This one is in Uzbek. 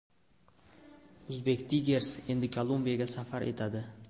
Uzbek Tigers endi Kolumbiyaga safar etadi.